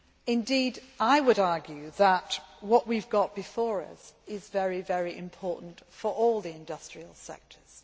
Indeed, I would argue that what we have got before us is very important for all the industrial sectors.